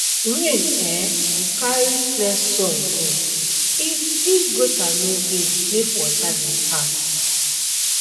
rain um go carry clear soil go if if gutter no dey make water dey pass